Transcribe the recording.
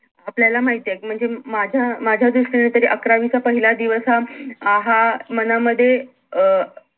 आपल्याला माहितीयेत म्हणजे माझ्या माझ्या दृष्टीने तरी अकरावीच्या पहिला दिवस हा अं हा अं मनामध्ये अं